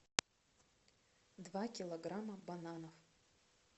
два килограмма бананов